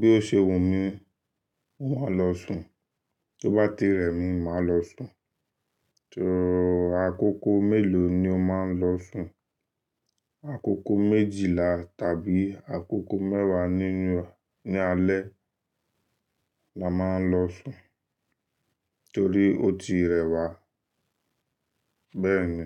Bí ó ṣe wù mí, mo máa lọ sùn. Tó bá ti rẹ̀ mí, máa lọ sùn. So àkókò mélòó ni o máa ń lọ sùn? Àkókò méjìlá tàbí àkókò mẹ́wàá nínú, ní alẹ́ la máa ń lọ sùn torí ó ti rẹ̀ wá bẹ́ẹ̀ni.